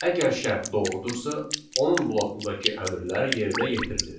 Əgər şərt doğrudursa, onun blokundakı əmrlər yerinə yetirilir.